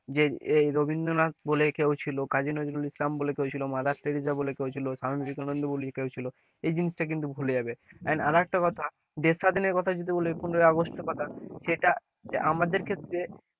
যে এই রবীন্দ্রনাথ বলে কেউ ছিল কাজী নজরুল ইসলাম বলে কেউ ছিল মাদার তেরেসা বলে কেউ ছিল স্বামী বিবেকানন্দ বলে কেও ছিল, এই জিনিসটা কিন্তু ভুলে যাবে আরেকটা কথা দেশ স্বাধীনের কথা যদি বলে পনের আগস্ট এর কথা সেটা আমাদের ক্ষেত্রে,